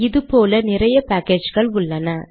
இது போல நிறைய பேக்கேஜ்கள் உள்ளன